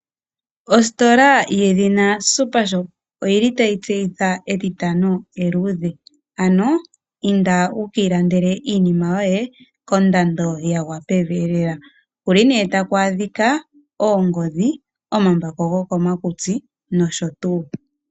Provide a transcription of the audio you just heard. Ostola yedhina Supershop oyili tayi tseyitha etitano eluudhe, ano inda wukii landele iinima yoye kondando yagwa pevi lela, moka tamu adhika oongodhi, omambako gokomakutsi nosho tuu.